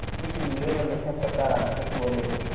इसलिए हमेशा सकारात्मक बोलें